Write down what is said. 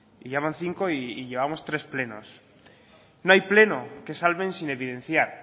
y ya van cinco y llevamos tres plenos no hay pleno que salven sin evidenciar